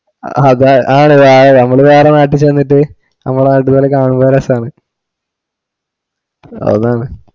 അതാ അ ആണ് നമ്മള് വേറ നാട്ടി ചെന്നിട്ട് നമ്മള് നാട്ടീന്ന് കാണുമ്പോ രസാണ് അതാണ്